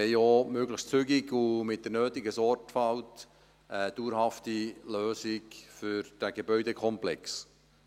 Wir wollen auch möglich zügig und mit der nötigen Sorgfalt eine dauerhafte Lösung für den Gebäudekomplex.